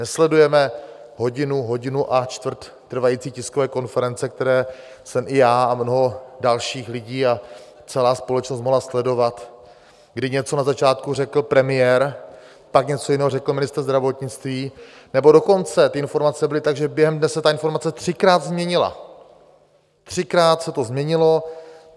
Nesledujeme hodinu, hodinu a čtvrt trvající tiskové konference, které jsem i já a mnoho dalších lidí a celá společnost mohla sledovat, kdy něco na začátku řekl premiér, pan něco jiného řekl ministr zdravotnictví, nebo dokonce ty informace byly tak, že během dne se ta informace třikrát změnila, třikrát se to změnilo.